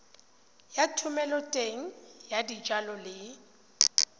ya thomeloteng ya dijalo le